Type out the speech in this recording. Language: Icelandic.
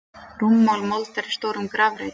Rúmmál moldar í stórum grafreit.